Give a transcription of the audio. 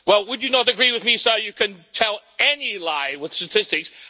Well, would you not agree with me that you can tell any lie with statistics?